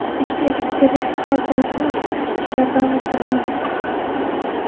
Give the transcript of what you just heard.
Ikkita elektrovozni olib chiqish ishlari davom ettirilmoqda.